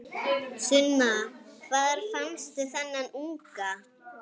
Sunna: Hvar fannstu þennan unga?